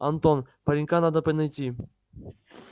антон паренька надо найти